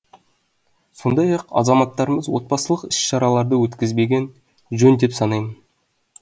сондай ақ азаматтарымыз отбасылық іс шараларды өткізбеген жөн деп санаймын